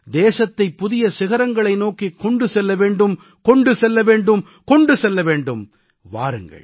நாமனைவரும் தேசத்தைப் புதிய சிகரங்களை நோக்கிக் கொண்டு செல்ல வேண்டும் கொண்டு செல்ல வேண்டும் கொண்டு செல்ல வேண்டும்